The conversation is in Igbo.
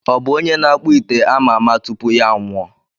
Ọ bụ onye na-akpụ ite ama ama tupu ya anwụọ?